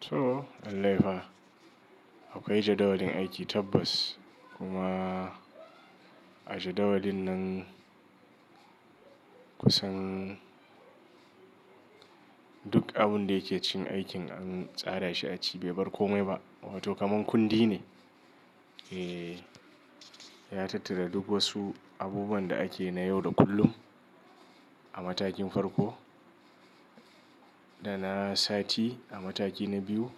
To, lai laifa. Akwai jadawalin aiki tabbas kuma a jadawalin nan kusan duk abin da yake cin aikin an tsara shi a ciki bai bar komai ba. Wato kamar kundi ne. E, ya tattara duk wasu abubuwan da ake na yau da kullum a matakin farko, da na sati a mataki na biyu,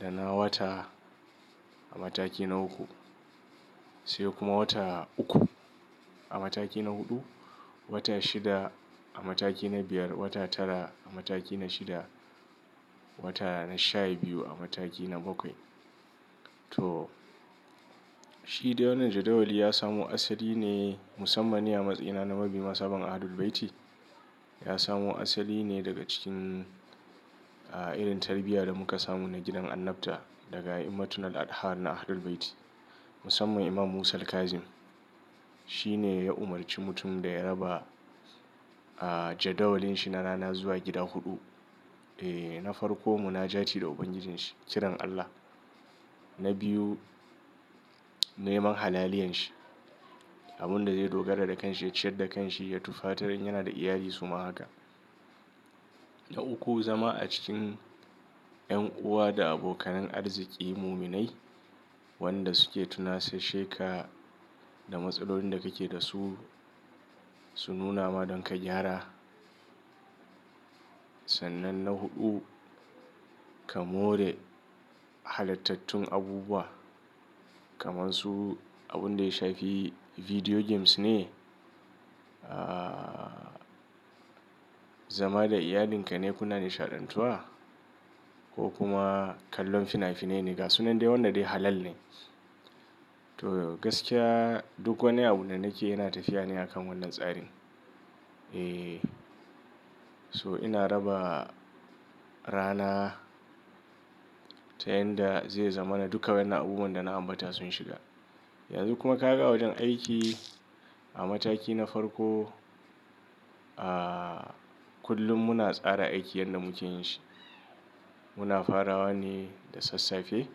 da na wata a mataki na uku, sai kuma wata uku a mataki na huɗu, wata shida a mataki na biyar, wata tara a mataki na shida, wata na sha biyu a mataki na bakwai. To, shi don wannan jadawali ya samo asali ne musammani a matsayina na mabiyin sabon Ahlul Bayti. Ya samo asali ne daga cikin, ah, irin tarbiyya da muka samu na gidan annabta daga imamattun Aladha na Ahlul Bayti, musamman Imam Musa Al-Kazim. Shi ne ya umarci mutum da ya raba, ah, jadawalinsa na rana zuwa gida huɗu. E, na farko mu na jati da Ubangijinshi, ciran Allah. Na biyu, neman halaliyan shi, abin da zai dogara da kanshi, ciyar da kanshi ya tufatar in yana da iyali su ma haka. Na uku, zama a cikin 'yan uwa da abokanin arziki muminai wanda suke tuna saisheka da matsalolin da kake da su, su nuna ma don ka gyara. Sannan na huɗu, ka more halattatun abubuwa kamar su abun da ya shafi video games ne, ah, zama da iyalinka ne kuna nishaɗantuwa ko kuma kallon fina-finai ne ga su nan dai wannan dai halal ne. To, gaskiya duk wani abu da nake yana tafiya ne a kan wannan tsarin. E, so ina raba rana ta yanda zai zamana duka wannan abubuwan da na ambata sun shiga. Yanzu kuma ka ga a wajen aiki a mataki na farko, ah, kullum muna tsara aikin yadda muke yin shi. Muna farawa ne da sassafe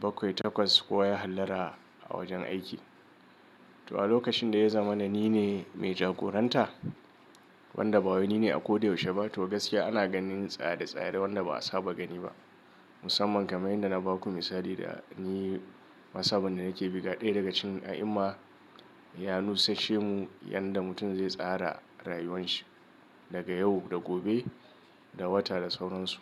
bakwai takwas kowa ya hallara a wajen aiki. To a lokacin da ya zamana ni ne mai jagoranta wanda ba wani ne a ko da yaushe ba. To gaskiya ana ganin tsare-tsare wanda ba a saba gani ba. Musamman kamar yanda na baku misali da ni. Masaban da nake buga ɗaya daga cikin a'imma ya nusushe mu yanda mutum zai tsara rayuwan shi daga yau da gobe da wata da sauransu.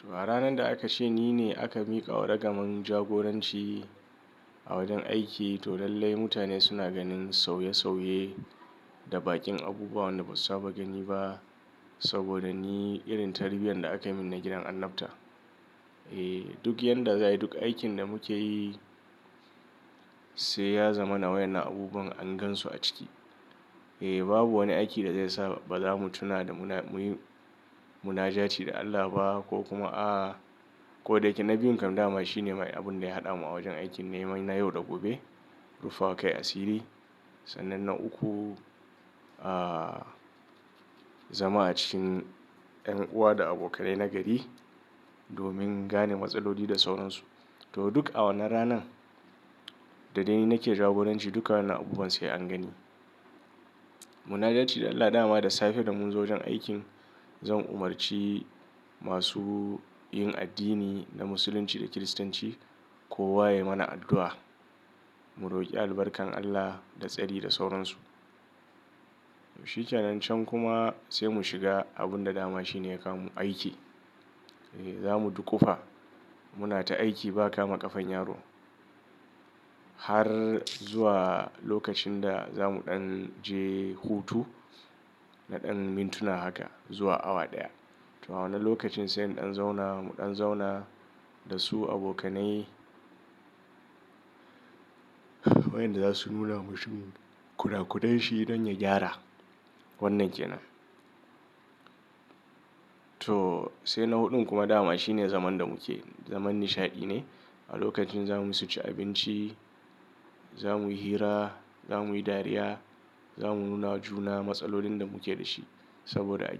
To a ranan da aka ce ni ne aka miƙa wa ragamar jagoranci a wajen aiki to lallai mutane suna ganin sauye-sauye da baƙin abubuwa wanda ba su saba gani ba. Saboda ni irin tarbiyyar da aka min na gidan annabta. E, duk yanda zai yi duk aikin da muke yi sai ya zamana wannan abubuwan an gansu a ciki. E, babu wani aiki da zai sa ba za mu tuna da muna muyi munajati da Allah ba ko kuma a ko da yake na biyun kamar dama shi ne abin da ya haɗa mu a wajen aiki neman na yau da gobe. Ruffa wa kai a sirri. Sannan na uku, ah, zama a cikin 'yan uwa da abokai na gari domin gane matsaloli da sauransu. To duk a wannan ranan da dai ni nake jagoranci duka wannan abubuwan sai an gani. Munajati da Allah dama da safe da mun zo wajen aikin zan umarci masu yin addini na Musulunci da Kiristanci kowa ya yi mana addu'a mu roƙi albarkan Allah da tsari da sauransu. Shi canancan kuma sai mu shiga abun da dama shi ne ya kawo mu aiki. E, za mu duƙufa muna ta aiki ba kama ƙafan yaro har zuwa lokacin da za mu ɗan je hutu na ɗan mintuna haka zuwa awa ɗaya. To a wannan lokacin sai ɗan zauna mu ɗan zauna da su abokanai wayanda za su nuna mashi kuda-kudai shi don ya gyara wannan ke nan. To sai na huɗun kuma dama shi ne zaman da muke zaman nishaɗi ne a lokacin za mu yi suci abinci, za mu yi hira, za mu yi dariya, za mu nuna juna matsalolin da muke da shi saboda ajiya.